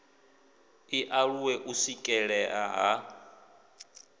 i aluwe u swikelelea ha